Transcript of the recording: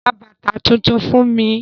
Ra bàtà tuntun fún mi?